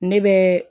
Ne bɛ